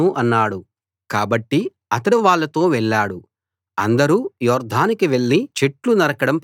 కాబట్టి అతడు వాళ్ళతో వెళ్ళాడు అందరూ యొర్దానుకి వెళ్ళి చెట్లు నరకడం ప్రారంభించారు